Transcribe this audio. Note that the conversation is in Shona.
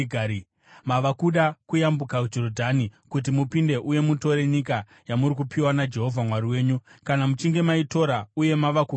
Mava kuda kuyambuka Jorodhani kuti mupinde uye mutore nyika yamuri kupiwa naJehovha Mwari wenyu. Kana muchinge maitora uye mava kugaramo,